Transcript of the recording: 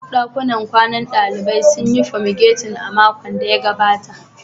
Duk dakunan kwanan dalibai sun yi fomigatin a makon da ya gabata